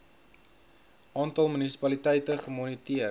aantal munisipaliteite gemoniteer